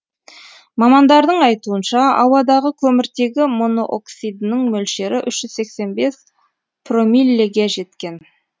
мамандардың айтуынша ауадағы көміртегі монооксидінің мөлшері үш жүз сексен бес промиллеге жеткен